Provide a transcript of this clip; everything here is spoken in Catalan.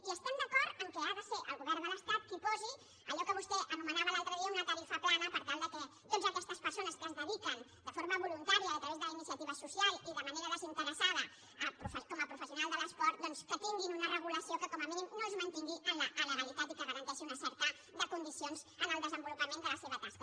i estem d’acord que ha de ser el govern de l’estat qui posi allò que vostè anomenava l’altre dia una tarifa plana per tal que totes aquestes persones que es dediquen de forma voluntària a través de la iniciativa social i de manera desinteressada com a professionals de l’esport doncs tinguin una regulació que com a mínim no els mantingui en l’alegalitat i que garanteixi unes certes condicions en el desenvolupament de la seva tasca